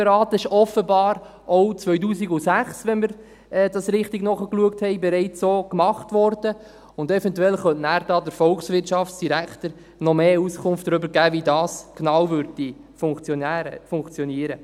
Das wurde offenbar auch 2006 – wenn wir dies richtig nachgeschaut haben – bereits so getan, und eventuell könnte der Volkswirtschaftsdirektor noch mehr Auskunft darüber geben, wie dies genau funktioniert.